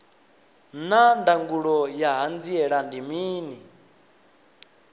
naa ndangulo ya hanziela ndi mini